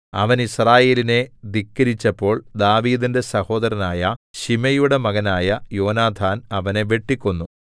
അവൻ യിസ്രായേലിനെ ധിക്കരിച്ചപ്പോൾ ദാവീദിന്റെ സഹോദരനായ ശിമെയയുടെ മകനായ യോനാഥാൻ അവനെ വെട്ടിക്കൊന്നു